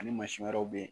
Ani mansin wɛrɛw bɛ yen